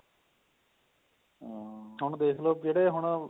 ਹੁਣ ਦੇਖਲੋ ਜਿਹੜੇ ਹੁਣ